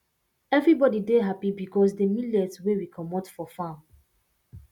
everybody dey happy because de millet wey we comot for farm